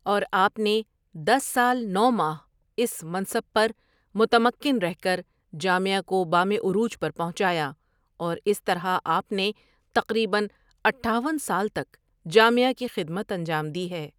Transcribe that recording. اور آپ نے دس سال نو؍ ماہ اس منصب پر متمکن رہ کر جامعہ کو بامِ عروج پر پہنچایا اور اس طرح آپ نے تقریباً اٹھاون سال تک جامعہ کی خدمت انجام دی ہے۔